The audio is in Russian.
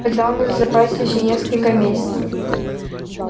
тогда у нас в запасе ещё несколько месяцев